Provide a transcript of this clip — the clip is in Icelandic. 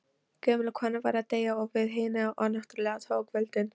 Gömul kona var að deyja og hið yfirnáttúrlega tók völdin.